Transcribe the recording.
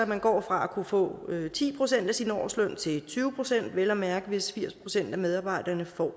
man går fra at kunne få ti procent af sin årsløn til tyve pct vel at mærke hvis firs procent af medarbejderne får